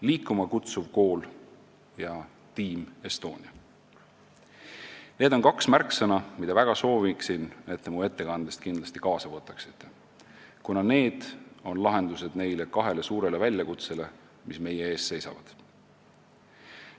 "Liikuma kutsuv kool" ja Team Estonia on kaks märksõna, mille puhul soovin, et te need mu ettekandest kindlasti kaasa võtaksite, kuna need on lahendused kahele suurele väljakutsele, mis meie ees seisavad.